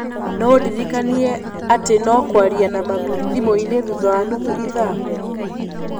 No ũndirikanie atĩ no kwaria na mami thimũ-inĩ thutha wa nuthu ithaa.